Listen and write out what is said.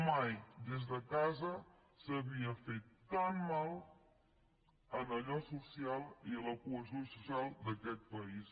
mai des de casa s’havia fet tan mal a allò social i a la cohesió social d’aquest país